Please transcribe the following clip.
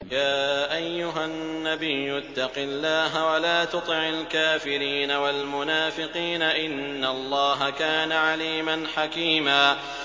يَا أَيُّهَا النَّبِيُّ اتَّقِ اللَّهَ وَلَا تُطِعِ الْكَافِرِينَ وَالْمُنَافِقِينَ ۗ إِنَّ اللَّهَ كَانَ عَلِيمًا حَكِيمًا